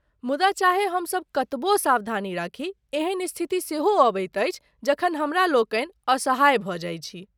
मुदा चाहे हमसब कतबो सावधानी राखी, एहन स्थिति सेहो अबैत अछि जखन हमरालोकनि असहाय भऽ जाइत छी।